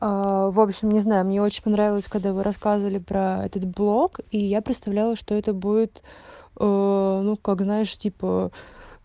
аа общем не знаю мне очень понравилось когда вы рассказывали про этот блок и я представляла что это будет ээ ну как знаешь типа